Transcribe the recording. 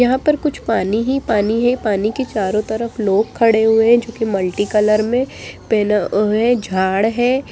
यहाँ पर कुछ पानी ही पानी हैं पानी के चारों तरफ लोग खड़े हुए हैं जो कि मल्टीकलर में पहना हुआ है झाड़ है।